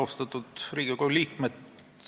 Austatud Riigikogu liikmed!